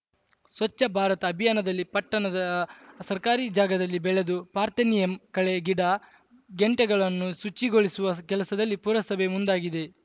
ಸ್ವಚ್ಛ ಭಾರತ ಅಭಿಯಾನದಲ್ಲಿ ಪಟ್ಟಣದ ಸರ್ಕಾರಿ ಜಾಗದಲ್ಲಿ ಬೆಳೆದು ಪಾರ್ಥೆನಿಯಂ ಕಳೆ ಗಿಡಗೆಂಟೆಗಳನ್ನು ಶುಚಿಗೊಳಿಸುವ ಕೆಲಸದಲ್ಲಿ ಪುರಸಭೆ ಮುಂದಾಗಿದೆ